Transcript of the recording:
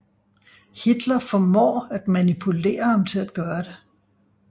Hitler formår at manipulere ham til at gøre det